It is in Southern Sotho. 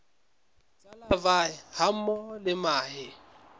tsa larvae hammoho le mahe